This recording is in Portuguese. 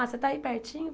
Ah, você está aí pertinho?